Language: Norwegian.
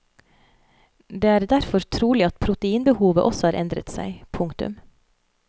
Det er derfor trolig at proteinbehovet også har endret seg. punktum